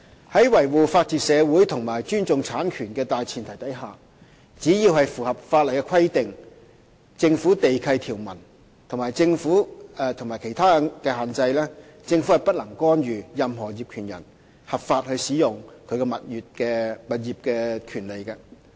在維護法治社會及尊重產權的大前提下，只要是符合法例規定、政府地契條文和其他限制，政府便不能干預任何業權人合法使用其物業的權利。